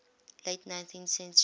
late nineteenth century